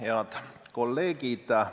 Head kolleegid!